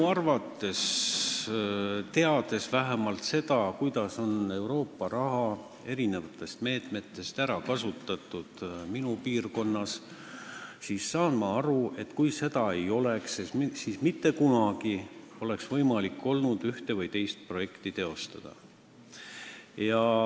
Teades seda, kuidas on Euroopa eri meetmete raha kasutatud minu piirkonnas, saan ma aru, et kui seda raha ei oleks olnud, siis poleks olnud mitte kunagi võimalik ühte või teist projekti teostada.